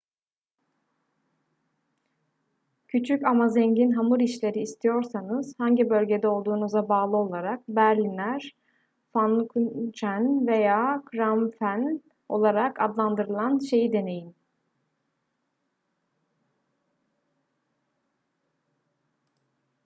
küçük ama zengin hamur işleri istiyorsanız hangi bölgede olduğunuza bağlı olarak berliner pfannkuchen veya krapfen olarak adlandırılan şeyi deneyin